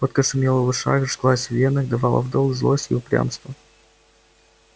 водка шумела в ушах жглась в венах давала в долг злость и упрямство